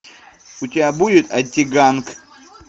у тебя будет антиганг